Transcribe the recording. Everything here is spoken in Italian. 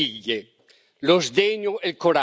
Lo sdegno per la realtà delle cose